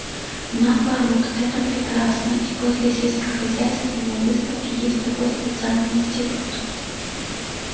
наоборот это прекрасно и возле сельскохозяйственной выставки есть такой специальный институт